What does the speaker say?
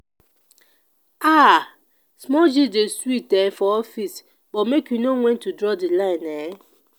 um small gist dey sweet um for office but make you know wen to draw di line. um